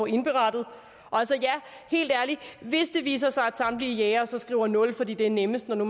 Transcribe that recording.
indberettet og hvis det viser sig at samtlige jægere så skriver nul fordi det er nemmest når nu